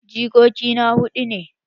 Jikoki na hudu ne.